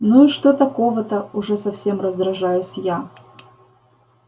ну и что такого-то уже совсем раздражаюсь я